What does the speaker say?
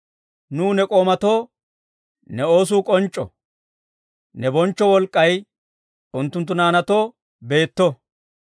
Nuw ne k'oomatoo ne oosuu k'onc'c'o; ne bonchcho wolk'k'ay unttunttu naanaatoo beetto.